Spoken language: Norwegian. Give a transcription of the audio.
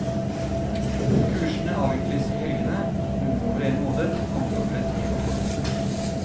Kursene avvikles i helgene, noen over en måned, andre over et helt år.